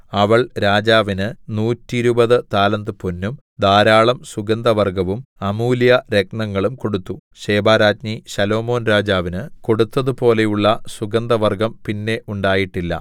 അവൾ രാജാവിന് നൂറ്റിരുപത് താലന്ത് പൊന്നും ധാരാളം സുഗന്ധവർഗ്ഗവും അമൂല്യ രത്നങ്ങളും കൊടുത്തു ശെബാരാജ്ഞി ശലോമോൻ രാജാവിന് കൊടുത്തതുപോലെയുള്ള സുഗന്ധവർഗ്ഗം പിന്നെ ഉണ്ടായിട്ടില്ല